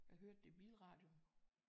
Jeg hørte det i bilradio